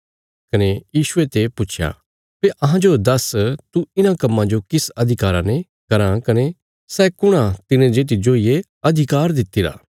कने यीशुये ते पुच्छया भई अहांजो दस्स तू इन्हां कम्मां जो किस अधिकारा ने कराँ कने सै कुण आ तिने जे तिज्जो ये अधिकार दितिरा